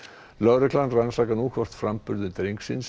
lögreglan rannsakar nú hvort framburður drengsins